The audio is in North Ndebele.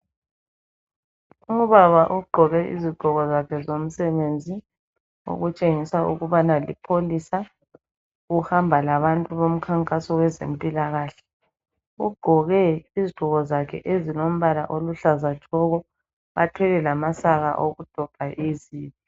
Ubaba ogqoke izigqoko zakhe zomsebenzi okutshengisa ukubana lipholisa uhamba labantu bomkhankaso wezempilakahle ugqoke izigqoko zakhe ezilombala oluhlaza tshoko, bathwele lamasaka abo okudobha izibi.